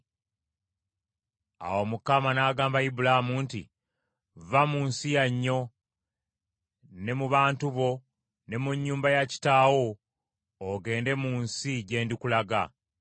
Awo Mukama n’agamba Ibulaamu nti, “Vva mu nsi yannyo ne mu bantu bo ne mu nnyumba ya kitaawo ogende mu nsi gye ndikulaga.